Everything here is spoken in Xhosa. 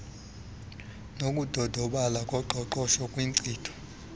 nokudodobala koqoqosho kwinkcitho